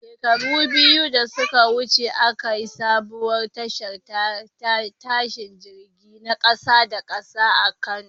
Shekaru biyu da suka wuce, aka yi sabuwar tashar tashin jirage na kasa da kasa a Kano.